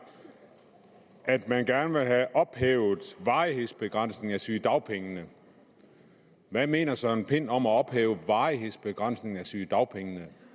at man gerne vil have ophævet varighedsbegrænsningen af sygedagpengene hvad mener herre søren pind om at ophæve varighedsbegrænsningen af sygedagpengene